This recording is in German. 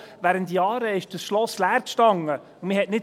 Während Jahren stand das Schloss leer und man wollte nicht.